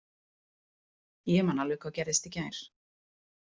Ég man alveg hvað gerðist í gær.